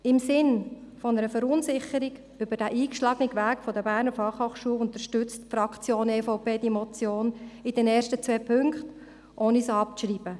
Im Sinne einer Verunsicherung über den eingeschlagenen Weg der BFH unterstützt die Fraktion der EVP die Motion in den ersten zwei Punkten, ohne diese abzuschreiben.